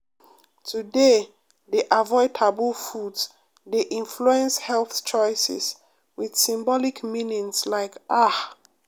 to dey dey avoid taboo foods dey influence health choices with symbolic meaning like ah.